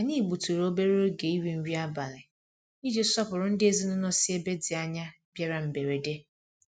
Anyị gbutụrụ obere oge iri nri abalị iji sọpụrụ ndị ezinụlọ sí ebe dị ányá bịara mberede.